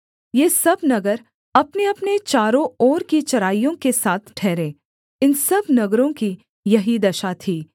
ये सब नगर अपनेअपने चारों ओर की चराइयों के साथ ठहरे इन सब नगरों की यही दशा थी